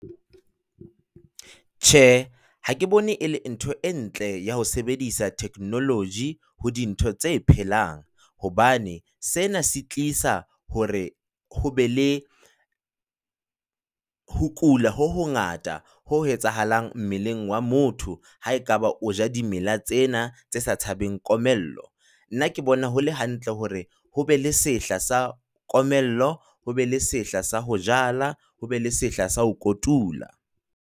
Tjhe, ha ke bone e le ntho e ntle ya ho sebedisa technology ho dintho tse phelang, hobane sena se tlisa hore ho be le ho kula ho ngata ho etsahalang mmeleng wa motho ha ekaba o ja dimela tsena tse sa tshabeng komello, nna ke bona ho le hantle hore ho be le sehla sa komello ho be le sehla sa ho jala, ho be le sehla sa ho kotula.